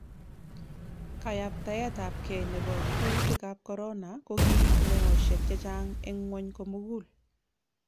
Kayabtaetabkei nebo kutikab korona ko kiib meosiek chechang eng ngwony komugul